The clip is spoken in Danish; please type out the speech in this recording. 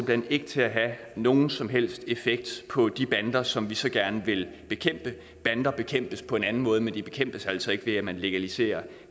hen ikke til at have nogen som helst effekt på de bander som vi så gerne vil bekæmpe bander bekæmpes på en anden måde men de bekæmpes altså ikke ved at man legaliserer